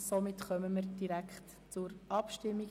Somit kommen wir direkt zur Abstimmung.